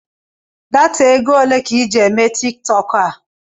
Data égo olé ka I ji eme Tiktọk a?